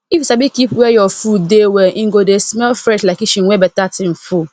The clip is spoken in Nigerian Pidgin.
if you sabi keep where your food dey well e go dey smell fresh like kitchen wey better thing full